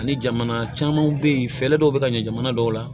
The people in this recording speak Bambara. Ani jamana camanw be yen fɛɛrɛ dɔw be ka ɲɛ jamana dɔw la